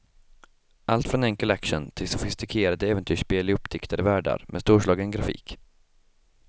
Allt från enkel action till sofistikerade äventyrsspel i uppdiktade världar med storslagen grafik.